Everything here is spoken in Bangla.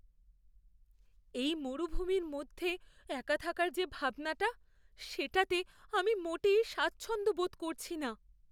এই মরুভূমির মধ্যে একা থাকার যে ভাবনা, সেটাতে আমি মোটেই স্বাচ্ছন্দ্য বোধ করছি না।